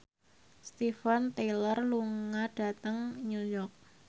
Steven Tyler lunga dhateng New York